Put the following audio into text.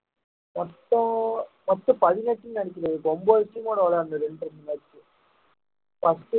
மொத்தம் பதினெட்டுன்னு நினைக்கிறேன் இப்போ ஒன்பது team மோட விளையாடனும் இரண்டு இரண்டு match பத்து